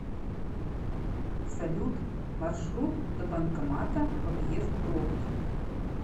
салют маршрут до банкомата в объезд пробки